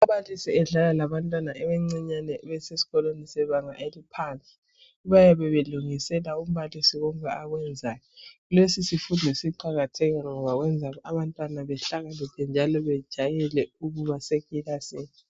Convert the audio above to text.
Ababalisi badlala labantwana abancinyane besesikolweni sebanga eliphansi ,bayabe belungisela umbalisi konke akwenzayo. Lesi sifundo siqakathekile ngoba kuyenza abantwana bahlakaniphe njalo bejayele ukuba sekilasini.